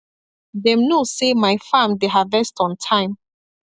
them know say my farm dey harvest on time